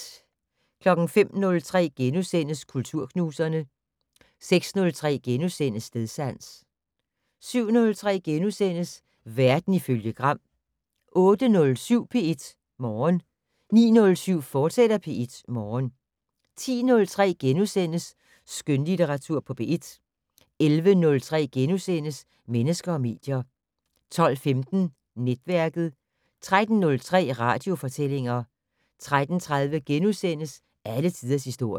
05:03: Kulturknuserne * 06:03: Stedsans * 07:03: Verden ifølge Gram * 08:07: P1 Morgen 09:07: P1 Morgen, fortsat 10:03: Skønlitteratur på P1 * 11:03: Mennesker og medier * 12:15: Netværket 13:03: Radiofortællinger 13:30: Alle tiders historie *